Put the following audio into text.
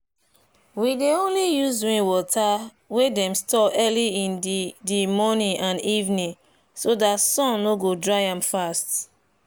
we dey only use rainwater wey dem store early in di di morning and evening so dat sun no go dry am fast.